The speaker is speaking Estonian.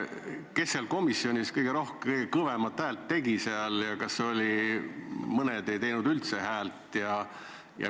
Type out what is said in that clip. Kes seal komisjonis kõige kõvemat häält tegi ja kas oli nii, et mõned ei teinud üldse häält?